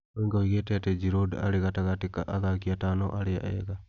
Wenger ougite ati Giroud arĩ gatagatĩ ka athaki atano arĩa ega.